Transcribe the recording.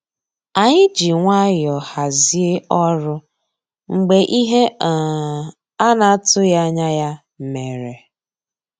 Ànyị́ jì nwayọ́ọ̀ hàzíé ọ́rụ́ mgbeé íhé um á ná-àtụ́ghị́ ànyá yá mérè.